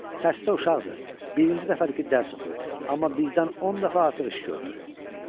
Xəstə uşaqdır, birinci dəfədir ki, dərs oxuyur, amma bizdən 10 dəfə artıq iş görürdü.